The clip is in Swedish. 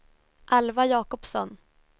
Alva Jacobsson